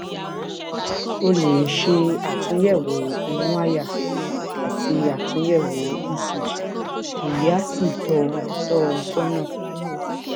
ó lè ṣe àtúnyẹwò inú àyà àti àtúnyẹwò ecg èyí á sì tọ ọ tọ ọ sọnà